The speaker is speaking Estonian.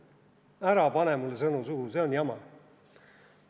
Ära pane mulle sõnu suhu, see on jama.